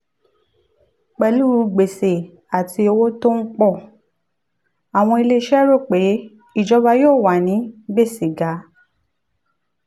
pẹ̀lú gbèsè àti owó tó ń pọ̀ àwọn ilé iṣẹ́ rò pé ìjọba yóò wà ní gbèsè ga.